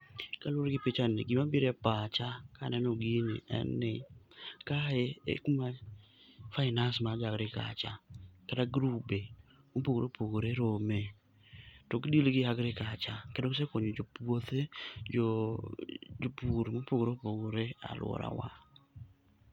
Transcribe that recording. Kaluwore gi pichani, gimabire pacha kaneno gini en ni kae e kuma finance mag jo agriculture, kata grube mopogore opogore rome. To gidil gi agriculture kendo gisekonyo jo puothe, jo jopur mopogore opogore alworawa.